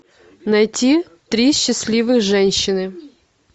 найти три счастливых женщины